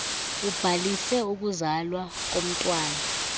ubhalise ukuzalwa komntwana